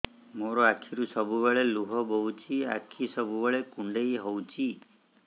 ମୋର ଆଖିରୁ ସବୁବେଳେ ଲୁହ ବୋହୁଛି ଆଖି ସବୁବେଳେ କୁଣ୍ଡେଇ ହଉଚି